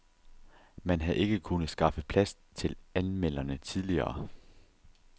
Man havde ikke kunnet skaffe plads til anmelderne tidligere.